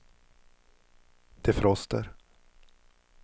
defroster